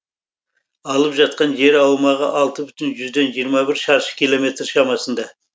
алып жатқан жер аумағы алты бүтін жүзден жиырма бір шаршы километр шамасында